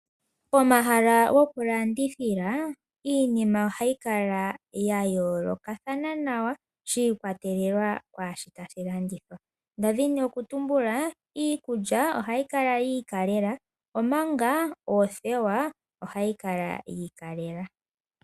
Pomahala gokulandithila, iinima ohayi kala ya yoolokathana nawa, shi ikwatelela kaashono tashi landithwa. Ndadhi nokutumbula iikulya ohayi kala yi ikalela, omanga oothewa ohadhi kala dhiikalela wo.